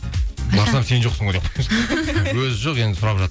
барсам сен жоқсың ғой өзі жоқ енді сұрап